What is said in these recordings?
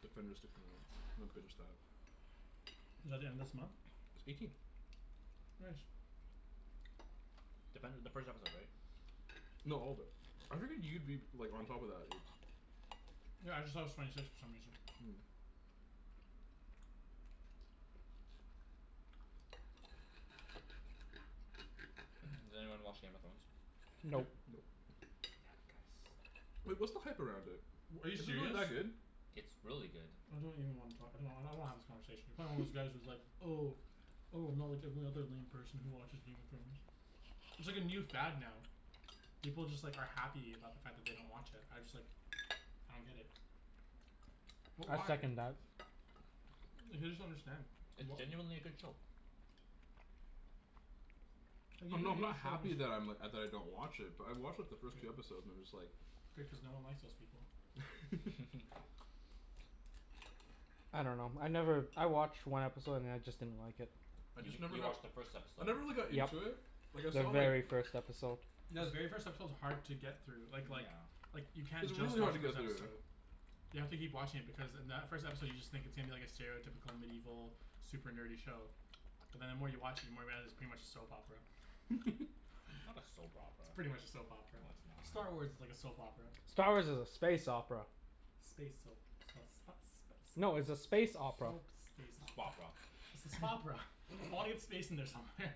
Defenders to come out. I'm gonna binge that. Is that the end of this month? It's eighteen. Nice. Defender the first episode right? No all of it. I figured you'd be like on top of that Ibs. Yeah I just thought it was twenty six for some reason. Does anyone watch Game of Thrones? Nope. Nope. Nope. Damn it guys. Wait, what's the hype around it? W- are you Is it really serious? that good? It's really good. I don't even wanna talk I don't- I don't wanna have this conversation. You're probably one of those guys who's like "Oh "Oh I'm not like every other lame person who watches Game of Thrones." It's like a new fad now. People just like are happy about the fact that they don't watch it. I just like I don't get it. What I why? second that. Like I just don't understand. It's What genuinely a good show. Like even I'm not if I'm you not have the show happy just that I'm like, uh, that I don't watch it but I watched like the first two episodes and I'm just like Good cuz no one likes those people. I dunno. I never, I watched one episode and then I just didn't like it. I You just mean- never you got watched the first I episode. never really got Yep, into it Like I the saw like very first episode. Yeah the very first episode is hard to get through. Like like Yeah. like you can't It's just really watch hard to the first get through. episode. You have to keep watching it because in that first episode you just think it seems like a stereotypical medieval super nerdy show But then the more you watch it the more you realize it's pretty much a soap opera. Not a soap It's opera. pretty much a soap opera. No it's Star not. Wars is like a soap opera. Star Wars is a space opera. Space soap No it's a soap space space opera. opera. Spopera. It's a "Spopera." Audience space in there somewhere.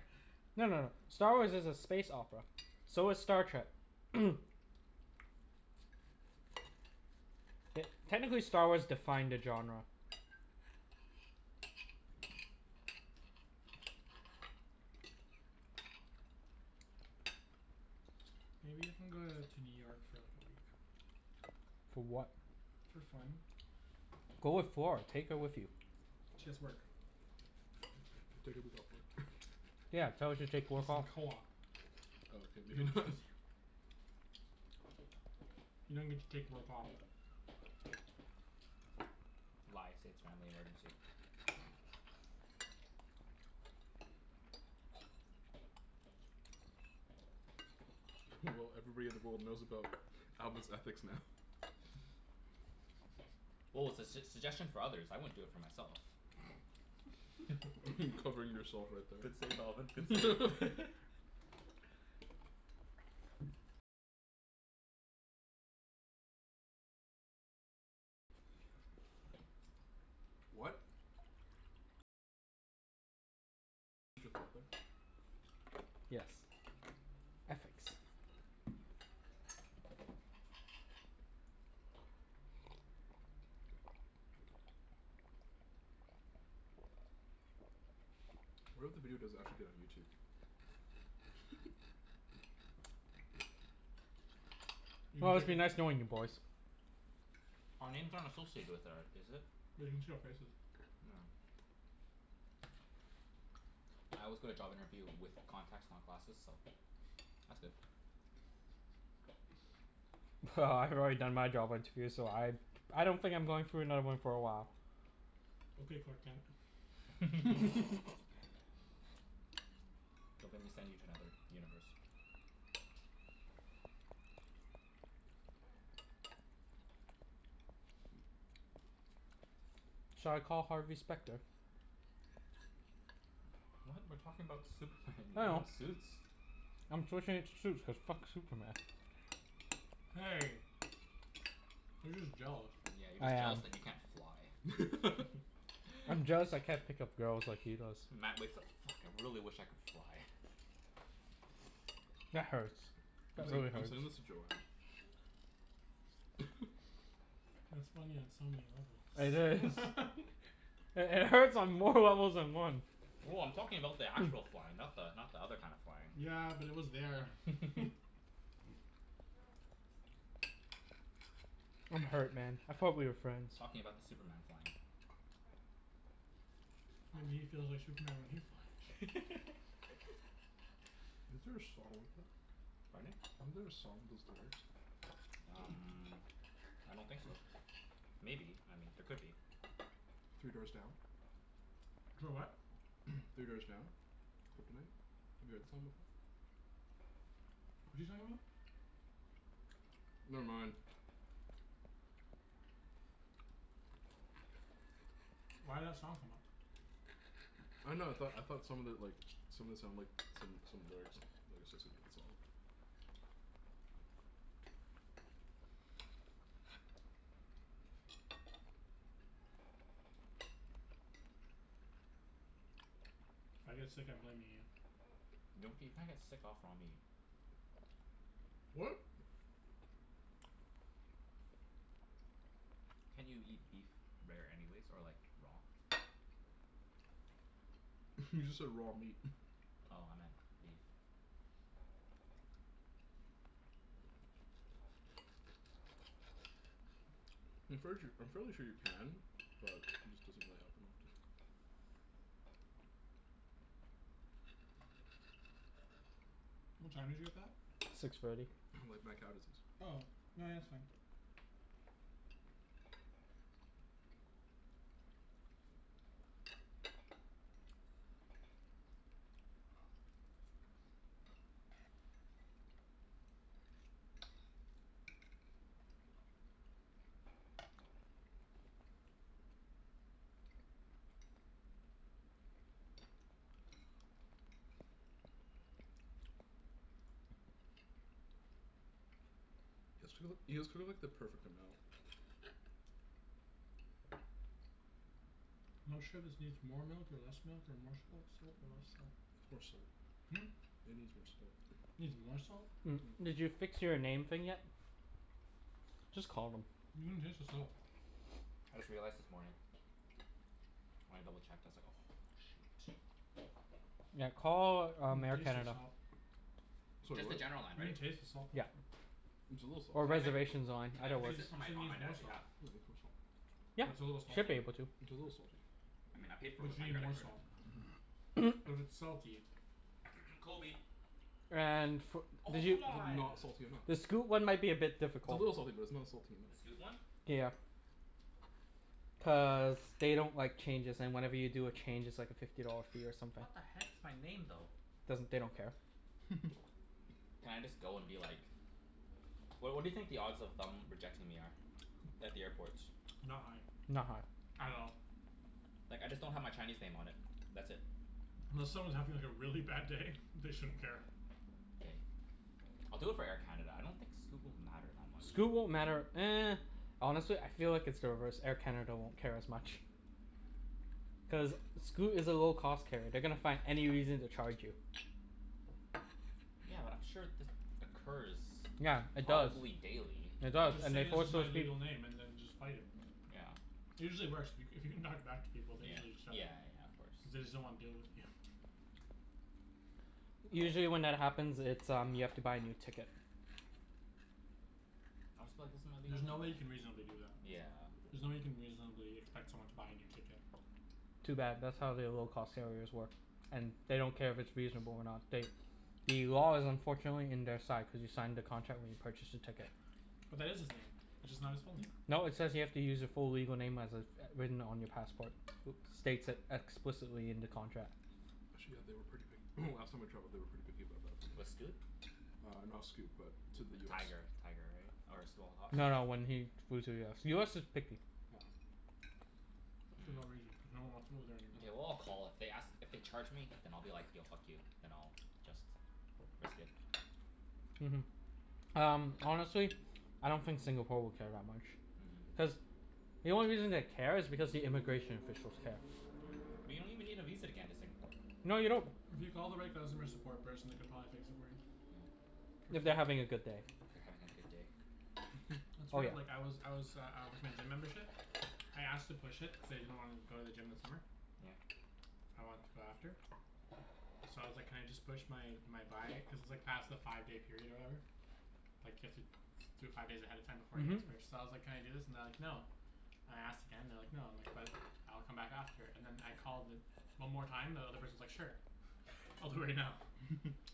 No no no. Star Wars is a space opera. So is Star Trek. Te- technically Star Wars defined the genre. Maybe you can go uh to New York for like a week. For what? For fun. Go with Flor, take her with you. She has work. Take a week off work. Yeah, tell her to She's take work in off. co-op. Oh okay, maybe not. You don't get to take work off. Lie, say it's family emergency. Well everybody in the world knows about Alvin's ethics now. Well it's a s- suggestion for others. I wouldn't for do it myself. Covering yourself right Good there. save Alvin, good save. What? Yes. Ethics. What if the video does actually get on YouTube? You can Well, break it's it. been nice knowing you boys. Our names aren't associated with or is it? They can see our faces. Oh. I always go to job interview with contacts not glasses, so that's good. Well, I've already done my job interview so I I don't think I'm going through another one for a while. Okay Clark Kent. Don't make me send you to another universe. Shall I call Harvey Specter? What? We're talking about Superman, you're I talking know. about Suits? I'm switching it to Suits cuz fuck Superman. Hey. You're just jealous. Yeah, you're I just am. jealous that you can't fly. I'm jealous I can't pick up girls like he does. Matt wakes up: "Fuck, I really wish I could fly." That hurts. I'm That really sen- I'm hurts. sending this to Joanne. That's funny on so many levels. It is. It hurts on more levels than one. Well, I'm talking about the actual flying. Not the not the other kind of flying. Yeah, but it was there. I'm hurt man, I thought we were friends. Talking about the Superman flying. Maybe he feels like Superman when he flies. Isn't there a song like that? Pardon? Isn't there a song with those lyrics? Um I don't think so. Maybe, I mean there could be. Three Doors Down? Clo- what? Three Doors Down? Kryptonite? Have you heard that song before? What's he talking about? Never mind. Why'd that song come up? I dunno, I thought I thought some of it like, some of it sounded like some some lyrics lyrics associated with the song. If I get sick I'm blaming you. Gnocchi, you can't get sick off raw meat. What? Can't you eat beef rare anyways? Or like raw? You just said raw meat. Oh, I meant beef. I'm fairly sure I'm fairly sure you can, but it just doesn't really happen often. What time did you get that? Six thirty. Like mad cow disease. Oh. No yeah, that's fine. You guys too- you guys cooked like the perfect amount. Not sure if this needs more milk or less milk or more salt salt or less salt. More salt. Hmm? It needs more salt. Needs more salt? Did you fix your name thing yet? Just call them. You can taste the salt. I just realized this morning. When I double checked I was like "Oh shoot." Yeah, call um Air taste the Canada. salt. Sorry, Just the what? general line, You can right? taste the salt though. Yep. It's a little salty. Or Can I fi- reservations line, can I either Cuz fix works. this for you said it my, on my needs more dad's salt. behalf? Yeah, it needs more salt. Yeah, What's a little should be salty? able to. It's a little salty. I mean I paid for it But with you my need credit more card. salt. Mhm. But it's salty. Kobe. And fo- Oh did you, c'mon. Not salty enough. the Scoot one might be a bit It's a difficult. little salty but it's not salty The Scoot enough. one? Yeah. Cuz God damn. they don't like changes and whenever you do a change it's like a fifty dollar fee or something. What the heck, it's my name though. Doesn't, they don't care. Can I just go and be like What what do you think the odds of them rejecting me are? At the airport. Not high. Not high. At all. Like I just don't have my Chinese name on it. That's it. Unless someone's having like a really bad day they shouldn't care. K, I'll do it for Air Canada. I don't think Scoot will matter that much. Scoot won't matter Honestly I feel like it's the reverse, Air Canada won't care as much. Cuz Scoot is a low cost carrier. They're gonna find any reason to charge you. Yeah, but I'm sure this occurs Yeah, it does. probably daily. It does Just and say they this force is my those peop- legal name and then just fight it. Yeah. It usually works. If you c- if you can talk back to people they Yeah. usually set it. Yeah yeah, of course. Cuz they just don't wanna deal with you. Yes. Usually when that happens it's um you have to buy a new ticket. I'll just be like, "This is my legal There's no way you name," yeah. can reasonably do that. Yeah. There's no way you can reasonably expect someone to buy a new ticket. Too bad, that's how they low cost carriers work. And they don't care if it's reasonable or not, they The law is unfortunately in their side cuz you signed the contract when you purchased the ticket. But that is his name. It's just not his full name. No, it says you have to use your full legal name as it's written on your passport. States it explicitly in the contract. Actually yeah, they were pretty pic- last time I traveled they were pretty picky about that With Scoot? Uh not Scoot, but to the US. Tiger. Tiger, right? Or Small Hoss? No, when he flew to US. US is picky. Yeah. For no reason, Hmm. cuz no one wants to go there anymore. Mkay, well I'll call, if they ask, if they charge me then I'll be like, "Yo, fuck you." Then I'll just risk it. Mhm. Um honestly I don't think Singapore will care that much. Mhm. Cuz the only reason they care is because the immigration officials care. But you don't even need a visa to get into Singapore. No you don't. If you call the right customer support person they could probably fix it for you. For If free. they're having a good day. They're having a good day? That's Oh right, yeah. like I was I was uh uh with my gym membership. I asked to push it, cuz I didn't wanna go to the gym this summer. Yeah? I want to go after. So I was like "Can I just push my my buy" cuz it's like past the five day period or whatever. Like you have to do it five days ahead of time before the Mhm. next purchase, so I was like, "Can I do this?" and they're like, "No." And I asked again and they're like "No." And I'm like, "But, I'll come back after." And then I called the one more time and the other person's like "Sure." "I'll do it right now."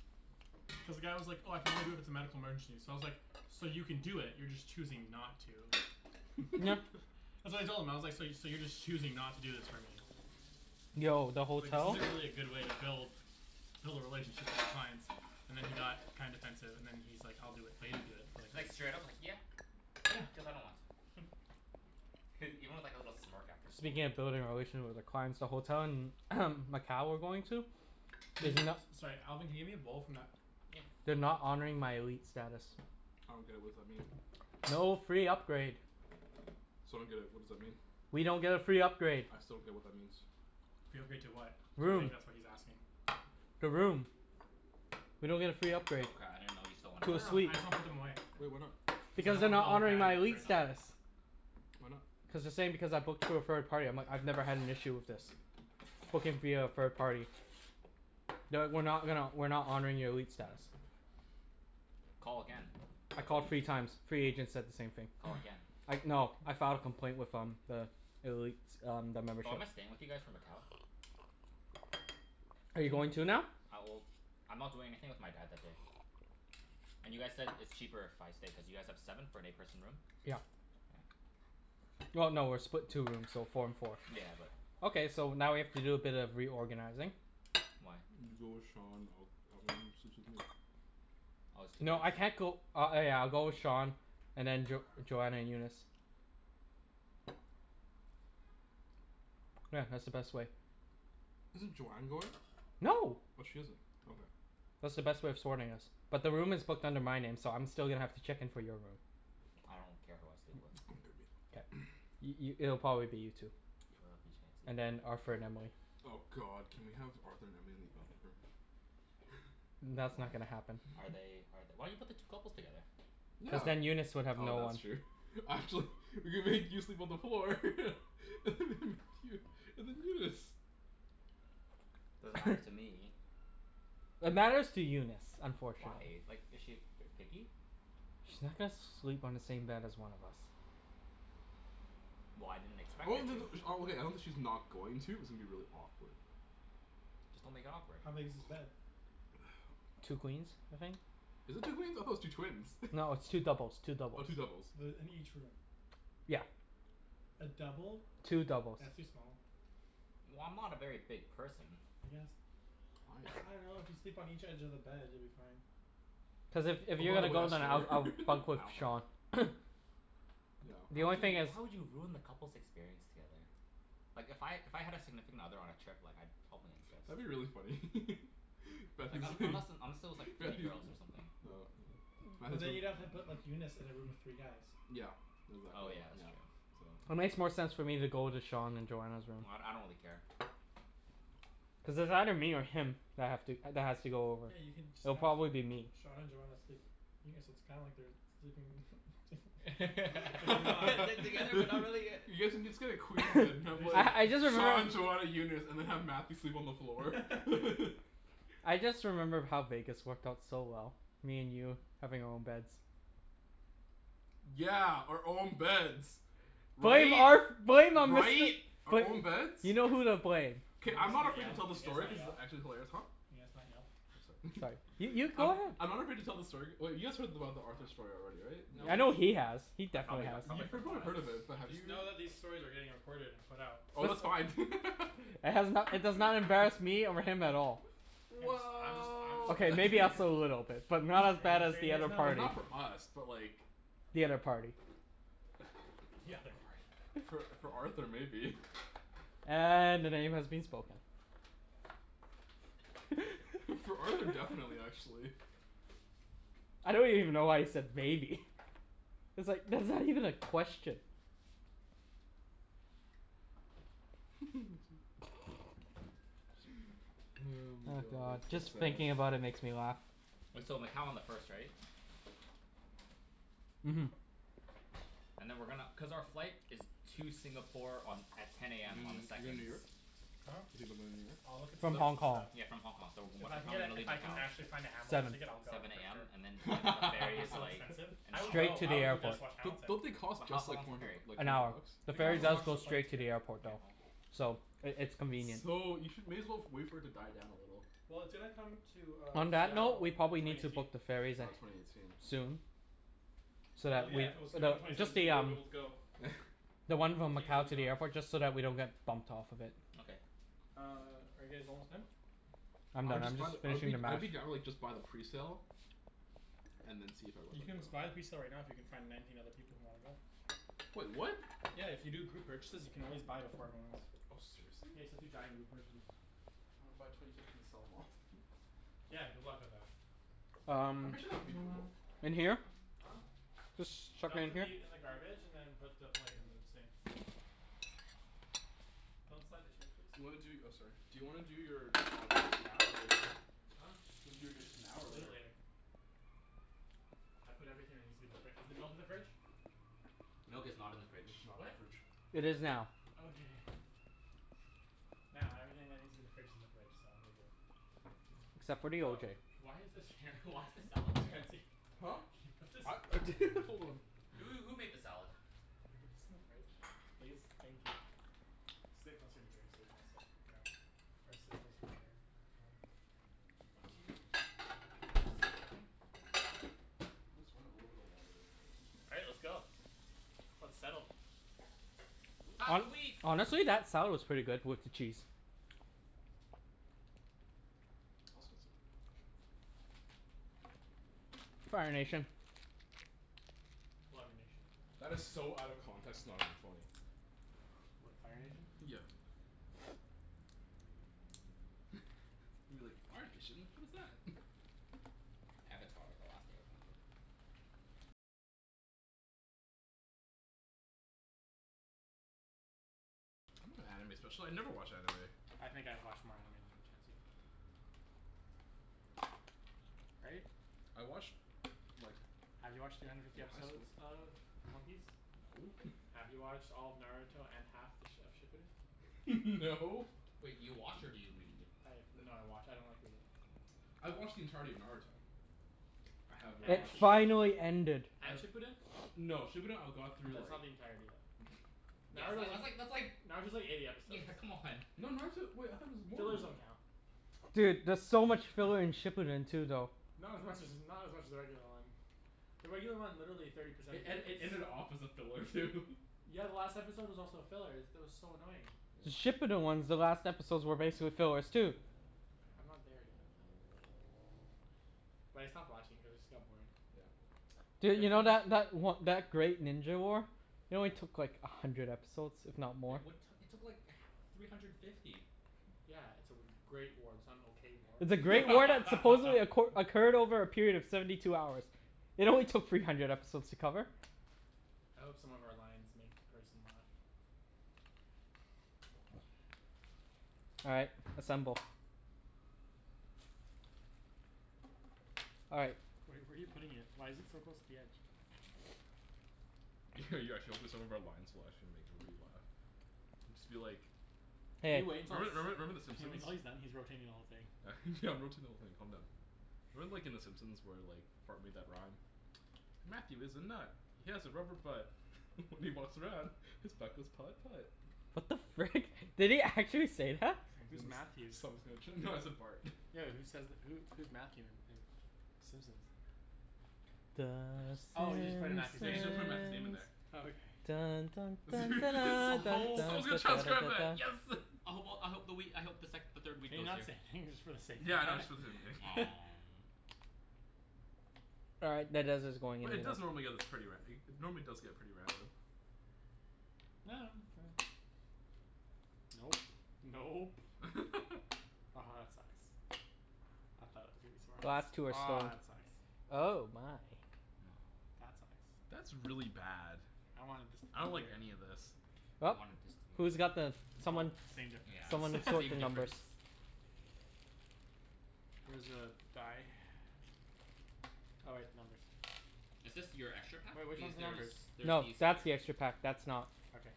Cuz the guy was like, "Oh I can only do it if it's a medical emergency." So I was like, "So you can do it, you're just choosing not to." Uh so I told him I was like, "So you so you're just choosing not to do this for me." Yo, the Like this hotel isn't really a good way to build Build a relationship with your clients and then he got kinda defensive and then he's like, "I'll do it." But he didn't do it for like at Like least straight up like "Yeah, Yeah. cuz I don't want to." Even with like a little smirk after. "Yeah." Speaking of building a relation with the clients the hotel in Macau we're going to Can you Is no- Sorry Alvin can you hand me a bowl from that Yeah. They're not honoring my elite status. I don't get it, what's that mean? No free upgrade. So I don't get it, what does that mean? We don't get a free upgrade. I still don't get what that means. Free upgrade to what? I Room. think that's what he's asking. The room. We don't get a free upgrade. Oh cra- I didn't know you still wanted To No a no, I suite. just wanna put them away. Well, why not? Cuz I Because don't they're wanna put a not whole honoring pan my in the elite Okay. fridge. status. Why not? Cuz they're saying because I booked through a third party I'm like, "I've never had an issue with this." Booking via a third party. "No, we're not gonna, we're not honoring your elite status." Call again, I I bet called three you times, three agents said the same thing. Call again. I no I filed a complaint with um the elite um the membership. Oh, am I staying with you guys for Macau? Are you going too now? Uh well, I'm not doing anything with my dad that day. And you guys said it's cheaper if I stay cuz you guys have seven for an eight person room? Yeah. Well no, we're split two rooms, so four and four. Yeah, but Okay, so now we have to do a bit of reorganizing. Why? You go with Sean, I'll I'll go in and sleep with Nate. Oh it's two beds? No I can't go, uh oh yeah I'll go with Sean and then Jo- Joanna and Eunice. Yeah, that's the best way. Isn't Joanne going? No. Oh she isn't. Okay. That's the best way of sorting us. But the room is booked under my name so I'm still gonna have to check in for your room. I don't care who I sleep with. K. I- i- it'll probably be you two. I love you And Chancey. then Arthur and Emily. Oh god, can we have Arthur and Emily in the other room? That's Oh. not gonna happen. Are they are th- why you put the two couples together? Cuz Yeah, then Eunice would have oh no one. that's true We could make you sleep on the floor and then Eunice. Doesn't matter to me. It matters to Eunice, Why? unfortunately. Like is she ver- picky? She's not gonna sleep on the same bed as one of us. Well, I didn't expect her to. Okay, I don't think she's not going to, it's gonna be really awkward. Just don't make it awkward. How big is this bed? Two queens, I think. Is it two queens? I thought it was two twins. No, it's two doubles, two Oh, doubles. two doubles. The in each room. Yeah. A double? Two doubles. That's too small. Well, I'm not a very big person. I guess. I I am. dunno, if you sleep on each edge of the bed you'll be fine. Plus if if Oh you're by the gonna way go I then I'll snore I'll bunk I with don't care. Sean. Yeah. The How only would thing is you, how would you have ruined the couples' experience together? Like if I, if I had a significant other on a trip like I'd probably insist. That'd be really funny Like un- unless and unless it was like three Matthew girls or something. Oh yeah, But Matthew's then you'd have have room. to put Eunice in a room with three guys. Yeah. Oh Exactly, yeah, that's yeah. true. So It makes more sense for me to go into Sean and Joanna's room. Well d- I don't really care. Cuz it's either me or him that have to that has to go over. Yeah, you can just It'll have probably be me. Sean and Joanna sleep. Yeah, so it's kinda like they're sleeping They're but they're not together but not really yet. You guys can just get a queen bed and We have can like I I just just Sean remembered Joanna Eunice, and then have Matthew sleep on the floor. I just remember how Vegas worked out so well. Me and you having our own beds. Yeah, our own beds. Blame Right? Arth- blame um Mister. Right? Our own beds? You know who to blame. Can K, you I'm guys not not afraid yell? to tell Can the you guys story not cuz it's yell? actually hilarious. Huh? Can you guys not yell? I'm sorry Sorry, you you go I'm ahead. I'm not afraid to tell the story, wait you guys heard about the Arthur story already, right? Nope. In I know Vegas? he has. He I definitely probably got has. I You probably forgot. heard of it but have Just you know that these stories are getting recorded and put out. Oh that's It's fine It has no- it does not embarrass me over him at all. Guys I'm just I'm just Well K, making sure maybe you us guys a little bit. But not as bad Making as sure you the guys other know. I mean party. not for us but like The other party. The other party. For for Arthur maybe. And the name has been spoken. For Arthur, definitely actually. I don't even know why you said maybe. It's like, that's not even a question. my Oh god, god, that's just so sad. thinking about it makes me laugh. Wait, so Macau on the first right? Mhm. And then we're gonna, cuz our flight is to Singapore on, at ten You AM on the doin' you're goin' second. to New York? Huh? Talking about going to New York? I'll look at So s- From tickets Hong and Kong. stuff. s- yeah from Hong Kong, so If what I can time are get we a gonna if leave I can Macau? actually find a Hamilton Seven. ticket I'll go Seven for AM, sure. and then like the But it'll ferry be is so like, expensive. an I would hour? Straight go, to I the would go just airport. to watch Don't Hamilton. don't they cost But how just how like long is four the hundred ferry? like An four hour. hundred bucks? The They ferry cost as does much as go a plane straight to ticket. the airport though. So it it's convenient. So you should, may as well wait for it to die down a little. Well, it's gonna come to uh On that note, Seattle we in probably twenty need to eighteen. book the ferries Oh, at, twenty eighteen. soon. So Well that yeah, we, if it was gonna come though, twenty just seventeen the you wouldn't be um able to go. The one from Tickets would Macau be to gone. the airport, just so that we don't get bumped off of it. Okay. Uh, are you guys almost done? I'm I would done, I'm just buy the, just I would finishing be the I would mash. be down to like just buy the presale. And then see if everyone You would can go. just buy the presale right now if you can find nineteen other people who wanna go. Wait, what? Yeah, if you do group purchases you can always buy them for everyone else. Oh, seriously? Yeah, you just have to giant group purchase. I wanna buy twenty tickets and sell 'em off Yeah, good luck with that. I'm Um pretty sure that'd be doable. in here? Huh? Just chuck it Dump the in here? meat in the garbage and then put the plate in the sink. Don't slide the chairs please. Do you wanna do, oh sorry, do you wanna do your uh dishes now or later? Huh? Do you wanna do your dishes now or We'll do it later? later. I put everything that needs to be in the fri- is the milk in the fridge? Milk is not in the Milk fridge. is not in What? the fridge. It is now. Okay. Now everything that needs to be in the fridge is in the fridge, so we're good. Except for the O Oh, J. why is this here Why is the salad there? Chancey. Huh? What's this Hold on. Who who made the salad? Could you put this in the fridge? Please? Thank you. Sit closer to here so we can all sit around or sit closer to there Up to you. Uh is this everything? Okay. Let's run a little bit of water real quick. All right, let's go. Let's settle. Pass the Hon- wheat. honestly, that salad was pretty good with the cheese. I was gonna sit there. Fire Nation. Water Nation. That is so out of context it's not even funny. What, Fire Nation? Yeah. You're like "Fire Nation? What is that?" Avatar, the Last Airbender. I'm not an anime special- I never watch anime. I think I've watched more anime than you Chancey. Right? I watched like Have you watched three hundred fifty in high episodes school of One Piece? No. Have you watched all of Naruto and half th- of Shippuden? No. Wait, you watch or do you read? I have, no I watch, I don't like reading. I've watched the entirety of Naruto. I have It And watched Shippuden? finally ended. Uh And Shippuden? No, Shippuden I got through That's like not the entirety then. Yeah it's Naruto like was, that's like that's like. Naruto's like eighty episodes. Yeah, come on. No, Naruto, wait I thought it was more than Fillers that. don't count. Dude, there's so much filler in Shippuden too though. Not as much as, not as much as the regular one. The regular one, literally thirty percent It of it ed- it is ended off as a filler too Yeah, the last episode was also a filler. Is, that was so annoying. The Yeah. Shippuden ones, the last episodes were basically fillers too. I'm not there yet um But I stopped watching cuz it just got boring. Yeah. Def Dude, you know wanna that that o- that Great Ninja War? It only took like a hundred episodes, if not more. It what, it took like h- three hundred fifty. Yeah, it's a w- great war. It's not an okay war. It's a great war that supposedly acqu- occurred over a period of seventy two hours. It only took three hundred episodes to cover. I hope some of our lines make the person laugh. All right, assemble. All right. Where are you where are you putting it? Why is it so close to the edge? You're actually hoping some of our lines will actually make everybody laugh. Just be like Can Hey. you wait until it's, Remember remember remember the can you wait Simpsons? until he's done? He's rotating the whole thing. Yeah I'm rotating the whole thing, calm down. Remember like in the Simpsons where like Bart made that rhyme? "Matthew is a nut, he has a rubber butt." "When he walks around, his butt goes putt putt." What the frick? Did he actually say that? Someone's Who's gonna Matthew? s- someone's gonna tr- no I said Bart. Yo who says th- who who's Matthew in in Simpsons? The Bunch of Oh you just put in Simpsons. Matthew's Yeah, you name? just gotta put Matthew's name in there. Oh okay. Simpsons. Someone's gonna transcribe that. Yes! I hope well I hope the wheat, I hope the sec- the third wheat Can you goes not say here. anything just for the sake of Yeah, I know, that? just All right, that dice is going in But it like does normally that. get this pretty ra- normally does get pretty random. Nope. Nope. Aha that sucks. I thought it was gonna be Last two smartest. are Aw stone, that sucks. oh my. That sucks. That's really bad. I wanted this to be I don't like any here. of this. Well. I wanted this to be Who's got uh the, Well, someone same Yeah, difference. someone it's sort the same numbers. difference. Where's the die? Oh wait, numbers. Is this your extra pack? Wait, which These, one's the there is, numbers? there's No, these here. that's the extra pack. That's not. Okay.